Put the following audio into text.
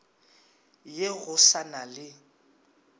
ye go sa na le